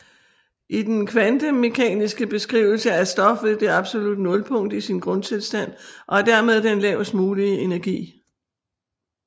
I den kvantemekaniske beskrivelse er stof ved det absolutte nulpunkt i sin grundtilstand og har dermed den lavest mulige energi